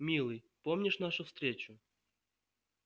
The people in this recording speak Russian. милый помнишь нашу встречу